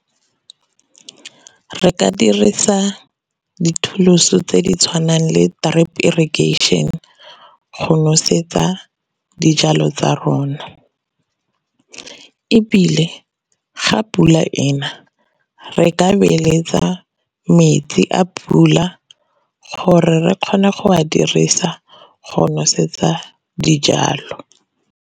Re ka dirisa di-tools-o tse di tshwanang le drip irrigation go nosetsa dijalo tsa rona, ebile ga pula ena re ka beeletsa metsi a pula gore re kgone go a dirisa go nosetsa dijalo.